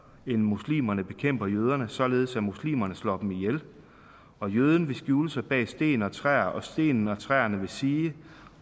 muslimerne bekæmper jøderne således at muslimerne slår dem ihjel og jøden vil skjule sig bag sten og træer og stenene og træerne vil sige